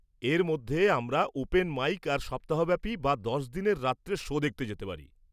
এর মধ্যে আমরা ওপেন মাইক আর সপ্তাহ ব্যাপি বা দশ-দিনের রাত্রের শো দেখতে যেতে পারি।